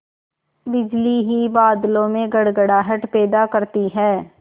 बिजली ही बादलों में गड़गड़ाहट पैदा करती है